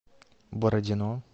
бородино